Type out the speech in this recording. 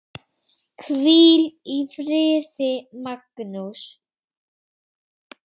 Hvíl í friði, Magnús.